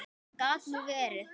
Gat nú verið!